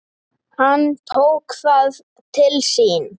Hann tók það til sín